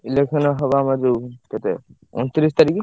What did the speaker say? Election ହବ ଆମର ଯୋଉ କେତେ ଅଣତିରିଶି ତାରିଖ୍।